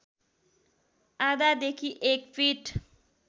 आधादेखि एक फिट